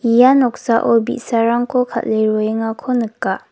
ia noksao bi·sarangko kal·e roengako nika.